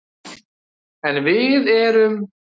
En við erum